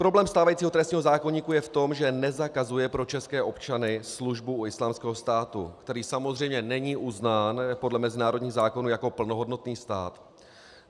Problém stávajícího trestního zákoníku je v tom, že nezakazuje pro české občany službu u Islámského státu, který samozřejmě není uznán podle mezinárodních zákonů jako plnohodnotný stát.